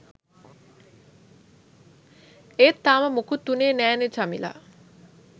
ඒත් තාම මුකුත් වුණේ නෑනේ චමිලා